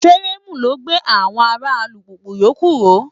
Fireemu ló gbé àwọn ara alùpùpù yòókù ró.